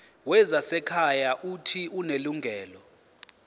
wezasekhaya uuthi unelungelo